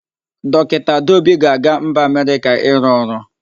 Dọkịta Adaobi ga-aga mba Amerịka ịrụ ọrụ.